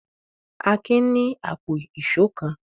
Akin ní àpò ìṣó kan.